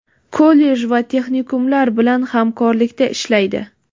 kollej va texnikumlar bilan hamkorlikda ishlaydi.